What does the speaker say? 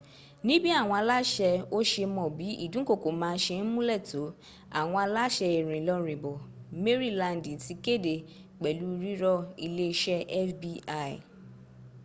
níbí àwọn aláṣẹ́ ò se mọ̀ bí ìdúnkokò náà se múnlẹ̀ tó àwọn aláṣẹ ìrìnlọrìnbọ̀ mérìlandì ti kéde pẹ̀lu rírọ iléeṣẹ́ fbi